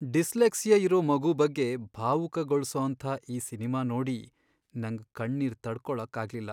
Dyslexia ಇರೋ ಮಗು ಬಗ್ಗೆ ಭಾವುಕಗೊಳ್ಸೋಂಥ ಆ ಸಿನ್ಮಾ ನೋಡಿ ನಂಗ್ ಕಣ್ಣೀರ್ ತಡ್ಕೊಳಕ್ಕಾಗ್ಲಿಲ್ಲ.